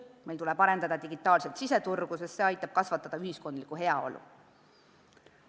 Meil tuleb arendada digitaalset siseturgu, sest see aitab kasvatada ühiskondlikku heaolu.